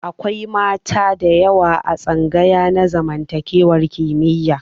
Akwai mata da yawa a tsangaya na zamantakewa kimiyya.